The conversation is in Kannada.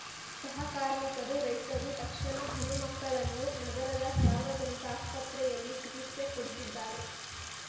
ಸಹ ಕಾರ್ಮಿಕರು ರೈತರು ತಕ್ಷಣ ಹನುಮಕ್ಕಳನ್ನು ನಗರದ ಸಾರ್ವಜನಿಕ ಆಸ್ಪತ್ರೆಯಲ್ಲಿ ಚಿಕಿತ್ಸೆ ಕೊಡಿಸಿದ್ದಾರೆ